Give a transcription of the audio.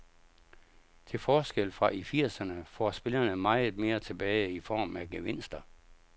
Til forskel fra i firserne får spillerne meget mere tilbage i form af gevinster.